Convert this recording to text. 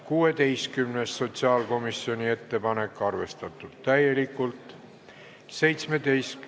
16., sotsiaalkomisjoni ettepanek, arvestatud täielikult.